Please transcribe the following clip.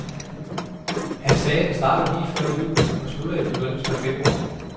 Han sagde, den starter lige før jul og slutter i begyndelsen af februar.